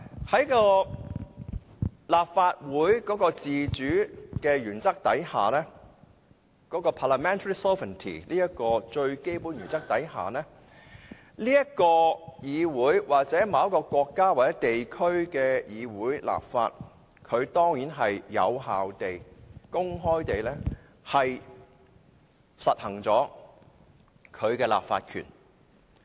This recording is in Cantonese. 在立法會的自主原則下，即 parliamentary sovereignty 這個最基本的原則下，這個議會或某國家或地區的議會進行立法，當然是有效地和公開地行使其立法權。